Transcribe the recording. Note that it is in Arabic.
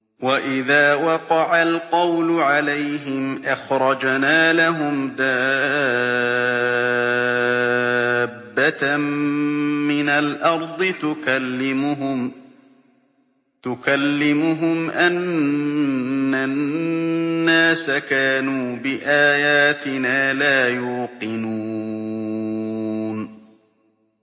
۞ وَإِذَا وَقَعَ الْقَوْلُ عَلَيْهِمْ أَخْرَجْنَا لَهُمْ دَابَّةً مِّنَ الْأَرْضِ تُكَلِّمُهُمْ أَنَّ النَّاسَ كَانُوا بِآيَاتِنَا لَا يُوقِنُونَ